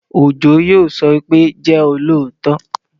Òjó yóò sọ pé, "jẹ́ olóòótọ